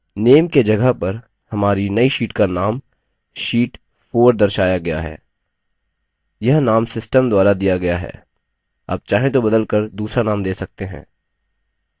name के जगह पर हमारी name sheet का name sheet 4 दर्शाया गया है यह name system द्वारा दिया गया है आप चाहें तो बदल कर दूसरा name दे सकते हैं